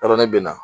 Yɔrɔ ne bɛ na